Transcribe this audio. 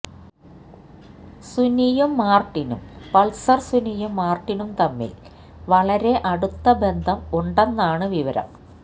സുനിയും മാര്ട്ടിനും പള്സര് സുനിയും മാര്ട്ടിനും തമ്മില് വളരെ അടുത്ത ബന്ധം ഉണ്ടെന്നാണ് വിവരം